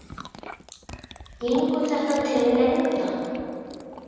Gengur þetta til lengdar?